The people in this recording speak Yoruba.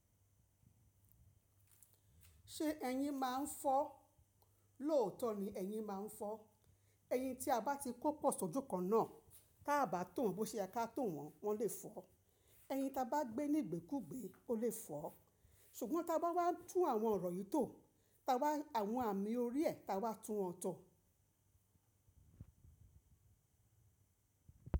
Ṣé eyin máa ń fọ́? Lóòótọ́ ni eyin máa ń fọ́. Eyin tí a bá ti kó pọ̀ sójú kan náà, tá bá tò won bó ṣe ye ká tò wọ́n, wọ́n lè fọ́. Eyin ta bá gbé ní ìgbèkúgbẹ̀, o lè fọ́. Ṣùgbọ́n ta bá wá tún àwọn ọ̀rọ̀ yìí tò, ta wá àwọn àmì orí ẹ̀ ta wá tún wọn tọ.